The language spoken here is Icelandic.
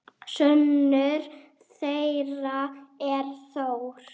Sonur þeirra er Þór.